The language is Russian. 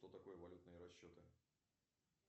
что такое валютные расчеты